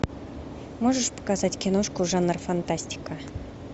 можешь показать киношку жанр фантастика